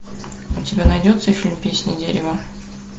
у тебя найдется фильм песня дерева